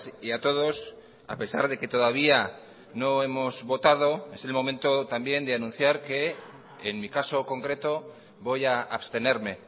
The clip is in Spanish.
y a todos a pesar de que todavía no hemos votado es el momento también de anunciar que en mi caso concreto voy a abstenerme